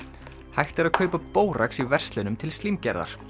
hægt er að kaupa bórax í verslunum til slímgerðar